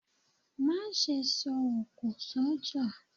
Má sẹ́ sọ òkọ̀ sọjá